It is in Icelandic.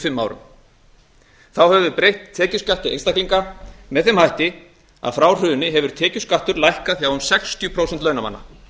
fimm árum þá höfum við breytt tekjuskatti einstaklinga með þeim hætti að frá hruni hefur tekjuskattur lækkað hjá um sextíu prósent launamanna